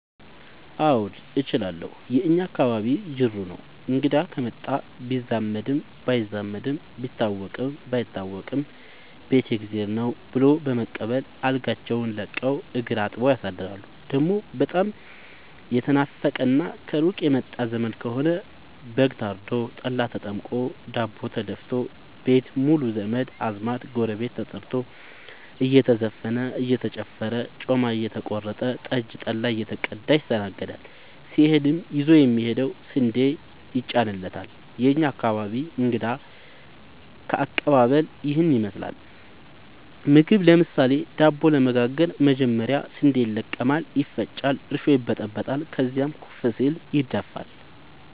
አዎድ እችላለሁ የእኛ አካባቢ ጅሩ ነው። እንግዳ ከመጣ ቢዛመድም ባይዛመድም ቢታወቅም ባይታወቅም ቤት የእግዜር ነው። ብሎ በመቀበል አልጋቸውን ለቀው እግር አጥበው ያሳድራሉ። ደሞ በጣም የተናፈቀና ከሩቅ የመጣ ዘመድ ከሆነ በግ ታርዶ፤ ጠላ ተጠምቆ፤ ዳቦ ተደፋቶ፤ ቤት ሙሉ ዘመድ አዝማድ ጎረቤት ተጠርቶ እየተዘፈነ እየተጨፈረ ጮማ እየተቆረጠ ጠጅ ጠላ እየተቀዳ ይስተናገዳል። ሲሄድም ይዞ የሚሄደው ስንዴ ይጫንለታል። የእኛ አካባቢ እንግዳ ከቀባበል ይህን ይመስላል። ምግብ ለምሳሌ:- ዳቦ ለመጋገር መጀመሪያ ስንዴ ይለቀማል ይፈጫል እርሾ ይበጠበጣል ከዚያም ኩፍ ሲል ይደፋል።